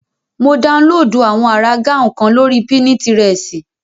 Mo daunlóòdù àwọn àrà gáùn kan lórí pínitirẹ̀sì